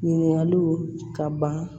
Ɲininkaliw ka ban